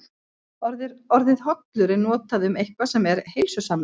Orðið hollur er notað um eitthvað sem er heilsusamlegt.